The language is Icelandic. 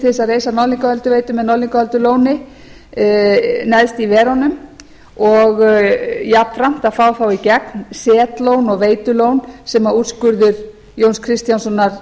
að reisa norðlingaölduveitu með norðlingaöldulóni neðst í verunum og jafnframt að fá þá í gegn setlón og veitulón sem úrskurður jón kristjánssonar